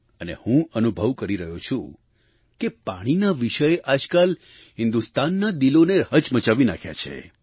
અને હું અનુભવ કરી રહ્યો છું કે પાણીના વિષયે આજકાલ હિન્દુસ્તાનનાં દિલોને હચમચમાવી નાખ્યાં છે